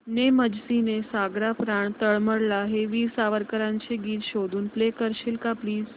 ने मजसी ने सागरा प्राण तळमळला हे वीर सावरकरांचे गीत शोधून प्ले करशील का प्लीज